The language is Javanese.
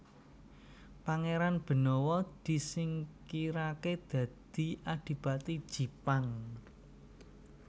Pangéran Benawa disingkiraké dadi Adipati Jipang